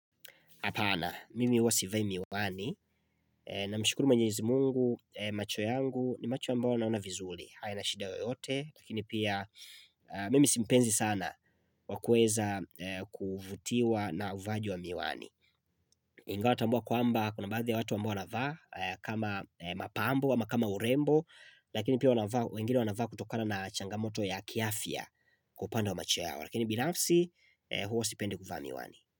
Apana, mimi huwa sivai miwani, namshukuru mwenyezi Mungu, macho yangu ni macho ambayo yanaona vizuri, hayana shida yoyote, lakini pia mimi si mpenzi sana wa kuweza kuvutiwa na uvaaji wa miwani. Ingawa tambua kwamba kuna baadhi watu ambao wanavaa, kama mapambo ama kama urembo, lakini pia wengine wanavaa kutokana na changamoto ya kiafya kwa upanda wa macho yao, lakini binafsi huwa sipendi kuvaa miwani.